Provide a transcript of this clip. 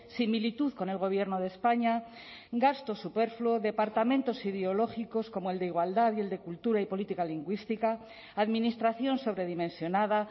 similitud con el gobierno de españa gasto superfluo departamentos ideológicos como el de igualdad y el de cultura y política lingüística administración sobredimensionada